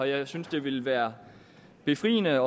jeg synes det ville være befriende at